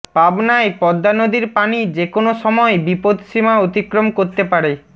পাবনায় পদ্মা নদীর পানি যে কোন সময় বিপদ সীমা অতিক্রম করতে পারে